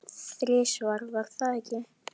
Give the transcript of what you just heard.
Þrisvar, var það ekki?